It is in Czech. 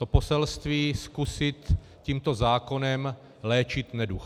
To poselství zkusit tímto zákonem léčit neduh.